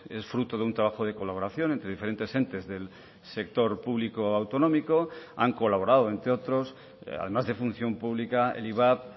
es fruto de un trabajo de colaboración entre diferentes entes del sector público autonómico han colaborado entre otros además de función pública el ivap